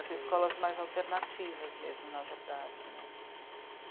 As escolas mais alternativas mesmo, na verdade, né?